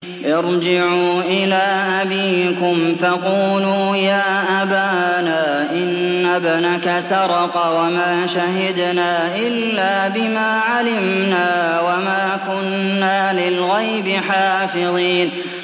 ارْجِعُوا إِلَىٰ أَبِيكُمْ فَقُولُوا يَا أَبَانَا إِنَّ ابْنَكَ سَرَقَ وَمَا شَهِدْنَا إِلَّا بِمَا عَلِمْنَا وَمَا كُنَّا لِلْغَيْبِ حَافِظِينَ